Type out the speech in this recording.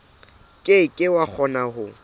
ke ke wa kgona ho